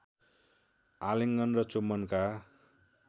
आलिङ्गन र चुम्बनका